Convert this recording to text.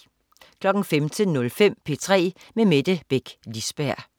15.05 P3 med Mette Beck Lisberg